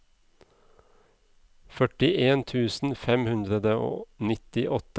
førtien tusen fem hundre og nittiåtte